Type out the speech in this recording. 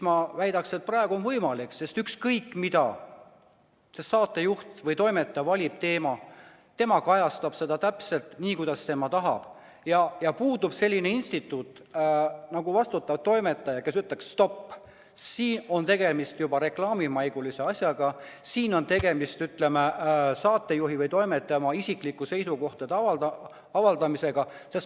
Ma väidan, et praegu on see võimalik, sest saatejuht või toimetaja valib teema, tema kajastab seda täpselt nii, kuidas tema tahab, ja puudub selline instituut nagu vastutav toimetaja, kes ütleks stopp, siin on juba tegemist reklaamimaigulise asjaga, siin on tegemist saatejuhi või toimetaja isiklike seisukohtade avaldamisega.